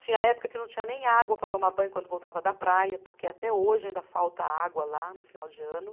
Tinha época que não tinha nem água para tomar banho quando voltava da praia, porque até hoje ainda falta água lá no final de ano.